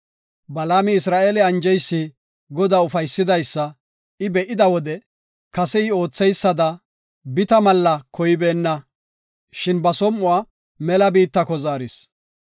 Balaami Isra7eele anjeysi Godaa ufaysidaysa I be7ida wode kase I ootheysada bita malla koybeenna, shin ba som7uwa mela biittako zaaris.